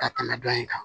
Ka kana dɔn in kan